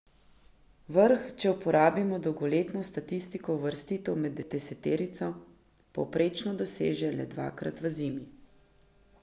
Vrh, če uporabimo dolgoletno statistiko uvrstitev med deseterico, povprečno doseže le dvakrat v zimi.